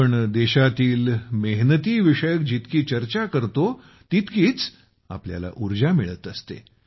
आम्ही देशातील मेहनतीविषयक जितकी चर्चा करतो तितकीच आम्हाला उर्जा मिळत असते